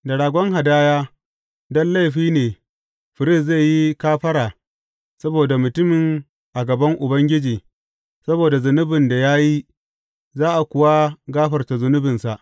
Da ragon hadaya don laifin ne firist zai yi kafara saboda mutumin a gaban Ubangiji saboda zunubin da ya yi, za a kuwa gafarta zunubinsa.